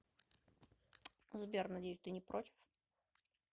сбер надеюсь ты не против